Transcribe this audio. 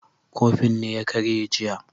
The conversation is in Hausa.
Kofin ne ya karye jiya